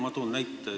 Ma toon näite.